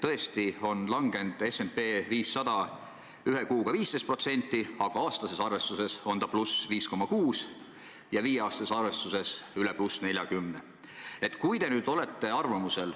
Tõesti on S&P 500 langenud ühe kuuga 15%, aga aastases arvestuses on see +5,6 ja viie aasta arvestuses üle +40.